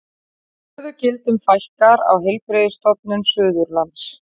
Stöðugildum fækkar á Heilbrigðisstofnun Suðurlands